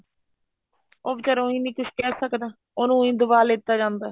ਉਹ ਵਿਚਾਰਾ ਉਈਂ ਨੀ ਕੁੱਝ ਕਹਿ ਸਕਦਾ ਉਹਨੂੰ ਉਈਂ ਦਬਾ ਲੀਤਾ ਜਾਂਦਾ